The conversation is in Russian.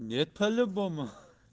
нет по-любому